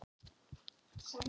Laugardal